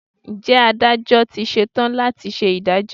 Ǹjẹ́ Adájọ́ ti ṣe tán láti ṣe ìdájọ́?